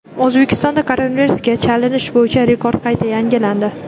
O‘zbekistonda koronavirusga chalinish bo‘yicha rekord qayta yangilandi.